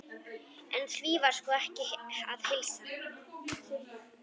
En því var sko ekki að heilsa.